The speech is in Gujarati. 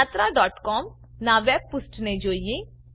yatraસીઓએમ નાં વેબ પુષ્ઠને જોઈએ